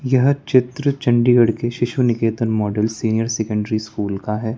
यह चित्र चंडीगढ़ के Shishu Niketan model senior secondary school का है।